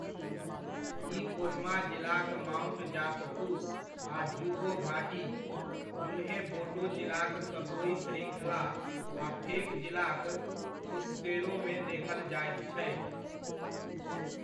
ई कोहिमा जिलाक माउंट जापफु आ ज़ुको घाटी, ज़ुन्हेबोटो जिलाक सतोइ श्रृङ्खला आ फेक जिलाक प्फुत्सेरोमे देखल जाइत छै।